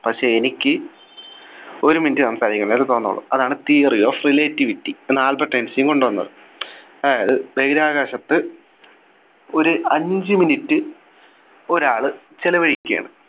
പക്ഷേ എനിക്ക് ഒരു Minute സംസാരിക്കുന്ന പോലെ തോന്നുന്നുള്ളൂ അതാണ് Theory of relativity എന്ന ആൽബർട്ട് ഐൻസ്റ്റീൻ കൊണ്ടുവന്നത് അതായത് ബഹിരാകാശത്ത് ഒരു അഞ്ചു Minute ഒരാൾ ചെലവഴിക്കാണ്